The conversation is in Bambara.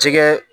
Jɛgɛ